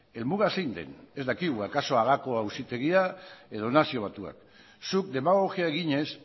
helmuga zein den ez dakigu akaso hagako auzitegia edo nazio batuak zuk demagogia eginez